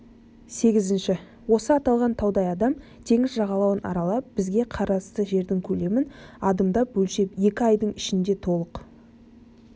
сегізінші осы аталған таудай адам теңіз жағалауын аралап бізге қарасты жердің көлемін адымдап өлшеп екі айдың ішінде толық